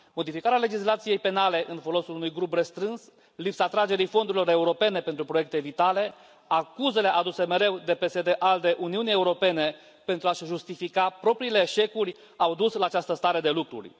Modificarea legislației penale în folosul unui grup restrâns, lipsa atragerii fondurilor europene pentru proiecte vitale, acuzele aduse mereu de PSD ALDE Uniunii Europene pentru a și justifica propriile eșecuri au dus la această stare de lucruri.